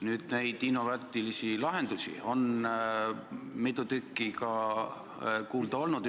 Nüüd on neid innovaatilisi lahendusi mitu tükki ka kuulda olnud.